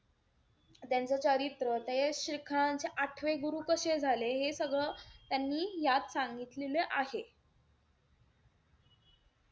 त्यांचं चरित्र, ते शिखरांचे आठवे गुरु कशे झाले, हे सगळं त्यांनी यात सांगितलेले आहे.